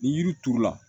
Ni yiri turu la